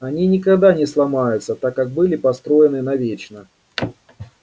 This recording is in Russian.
они никогда не сломаются так как были построены навечно